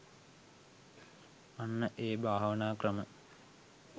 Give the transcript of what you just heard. අන්න ඒ භාවනා ක්‍රම